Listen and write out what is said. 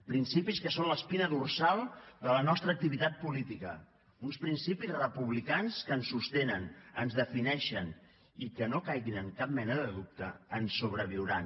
principis que són l’espina dorsal de la nostra activitat política uns principis republicans que ens sostenen ens defineixen i que no caiguin en cap mena de dubte ens sobreviuran